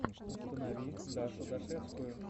установи дашу дашевскую